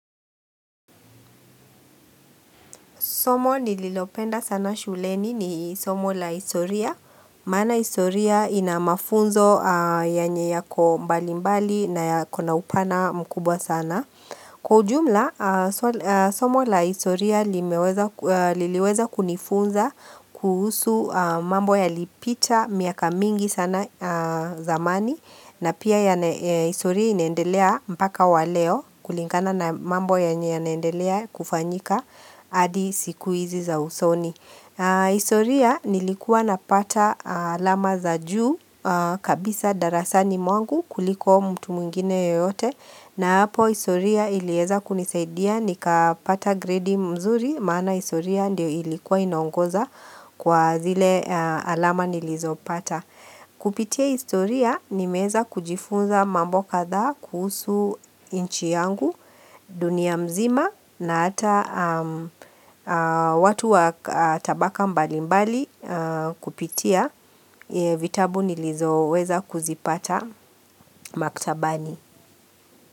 Somo nililopenda sana shuleni ni somo la historia, maana historia ina mafunzo yenye yako mbali mbali na yako na upana mkubwa sana. Kwa ujumla, somo la historia liliweza kunifunza kuhusu mambo yalipita miaka mingi sana zamani na pia historia inaendelea mpaka wa leo kulingana na mambo yenye yanaendelea kufanyika. Adi sikuizi za usoni historia nilikuwa napata alama za juu kabisa darasani mwangu kuliko mtu mwingine yoyote na hapo historia ilieza kunisaidia nikapata gredi mzuri Maana hisoria ndio ilikuwa inaongoza kwa zile alama nilizopata Kupitia hisoria nimeeza kujifunza mambo kadhaa kuhusu nchi yangu dunia mzima na hata watu wa tabaka mbali mbali kupitia vitabu nilizoweza kuzipata maktabani.